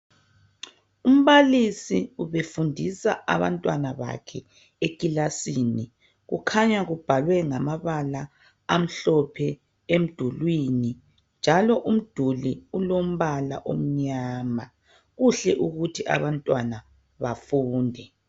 Umbalisi ubefundisa abantwana bakhe ekilasini. Kukhanya kubhalwe ngamabala amhlophe emdulini njalo umduli ulombala omnyama. Kuhle ukuthi abantwana bafunde.